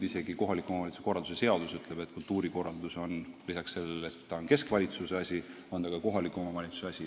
Isegi kohaliku omavalitsuse korralduse seadus ütleb, et kultuurikorraldus on lisaks sellele, et ta on keskvalitsuse asi, ka kohaliku omavalitsuse asi.